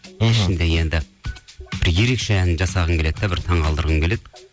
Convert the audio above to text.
ішінде енді бір ерекше ән жасағым келеді де бір таңқалдырғым келеді